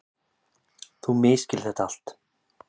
Þú misskilur þetta allt.